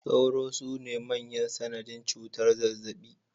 Sauro sune manyan sanadin cutar zazzaɓi